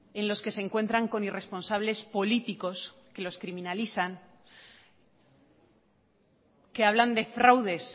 en los que se encuentran con irresponsables políticos que los criminalizan que hablan de fraudes